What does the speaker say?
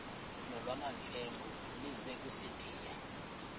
nolwamamfengu ize kusitiya